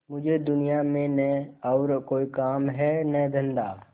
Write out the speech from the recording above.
मुझे दुनिया में न और कोई काम है न धंधा